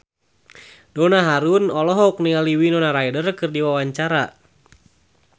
Donna Harun olohok ningali Winona Ryder keur diwawancara